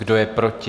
Kdo je proti?